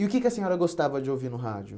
E o que que a senhora gostava de ouvir no rádio?